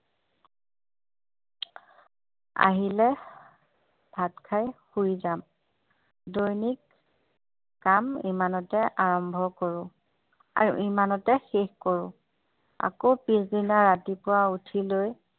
আহিলে ভাত খাই শুই যাম দৈনিক কাম ইমানতে আৰম্ভ কৰোঁ আৰু ইমানতে শেষ কৰোঁ আকৌ পিছদিনা ৰাতিপুৱা উঠি লৈ